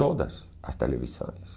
Todas as televisões.